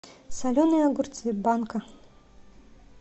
соленые огурцы банка